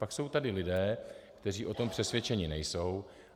Pak jsou tady lidé, kteří o tom přesvědčeni nejsou.